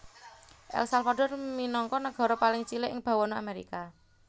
El Salvador minangka nagara paling cilik ing bawana Amerika